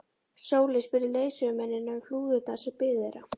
Sóley spurði leiðsögumennina um flúðirnar sem biðu þeirra.